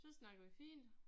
Så snakkede vi fint